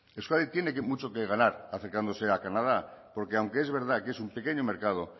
euskadi tiene mucho que ganar acercándose a canadá porque aunque es verdad que es un pequeño mercado